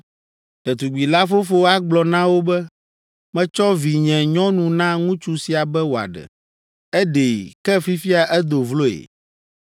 Ɖetugbi la fofo agblɔ na wo be, “Metsɔ vinyenyɔnu na ŋutsu sia be wòaɖe. Eɖee, ke fifia edo vloe